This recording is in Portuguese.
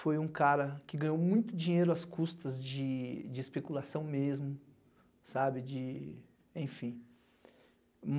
Foi um cara que ganhou muito dinheiro às custas de de especulação mesmo, sabe, de, enfim.